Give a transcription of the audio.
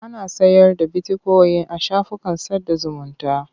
Ana sayar da bitikoyin a shafukan sada zumunta.